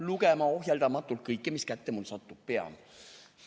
Lugema ohjeldamatult kõike, mis kätte mul satub, pean.